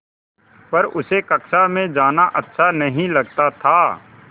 पर उसे कक्षा में जाना अच्छा नहीं लगता था